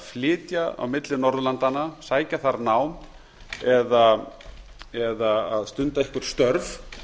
flytja á milli norðurlandanna sækja þar nám eða að stunda einhver störf